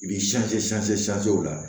I b'i o la